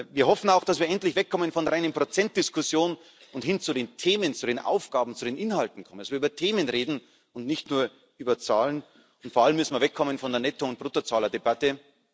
Wir hoffen auch, dass wir endlich wegkommen von reinen Prozentdiskussionen und hin zu den Themen, zu den Aufgaben, zu den Inhalten kommen. Dass wir über Themen reden und nicht nur über Zahlen, und vor allem müssen wir wegkommen von der Netto und Bruttozahlerdebatte.